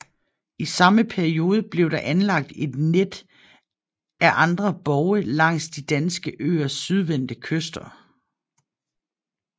I samme periode blev der anlagt et net af andre borge langs de danske øers sydvendte kyster